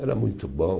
Era muito bom.